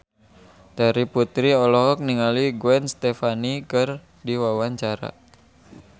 Terry Putri olohok ningali Gwen Stefani keur diwawancara